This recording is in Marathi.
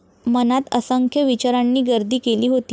मनात असंख्य विचारांनी गर्दी केली होती.